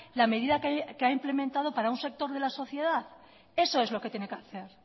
la medida que ha implementado para un sector de la sociedad eso es lo que tiene que hacer